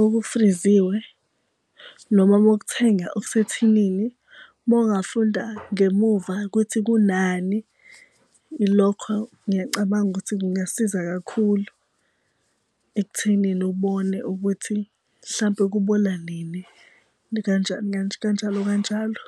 okufriziwe noma uma ukuthenga okusethinini. Uma ungafunda ngemuva kuthi kunani ilokho ngiyacabanga ukuthi kungasiza kakhulu ekuthenini ubone ukuthi mhlampe kubona nini, kanjalo kanjalo.